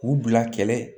K'u bila kɛlɛ